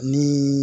Ni